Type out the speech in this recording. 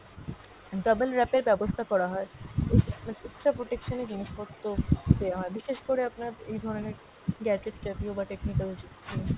double wrap এর ব্যবস্থা করা হয়। উম মানে extra protection এ জিনিসপত্র দেওয়া হয়, বিশেষ করে আপনার এই ধরনের gadget জাতীয় বা technical জিনিস